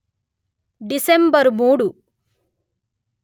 December మూడు;